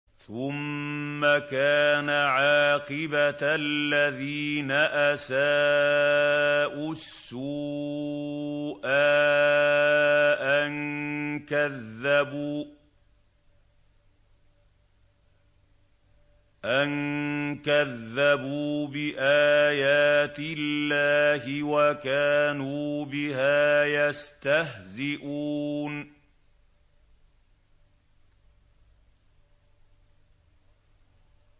ثُمَّ كَانَ عَاقِبَةَ الَّذِينَ أَسَاءُوا السُّوأَىٰ أَن كَذَّبُوا بِآيَاتِ اللَّهِ وَكَانُوا بِهَا يَسْتَهْزِئُونَ